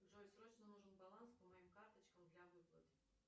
джой срочно нужен баланс по моим карточкам для выплат